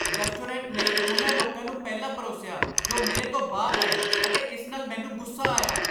Restaurant ਨੇ ਉਨ੍ਹਾਂ ਲੋਕਾਂ ਨੂੰ ਪਹਿਲਾਂ ਪਰੋਸਿਆ ਜੋ ਮੇਰੇ ਤੋਂ ਬਾਅਦ ਆਏ ਅਤੇ ਇਸ ਨਾਲ ਮੈਨੂੰ ਗੁੱਸਾ ਆਇਆ।